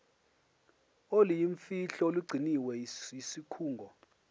oluyimfihlo olugcinwe yisikhungo